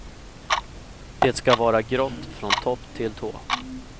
Det ska vara grått från topp till tå.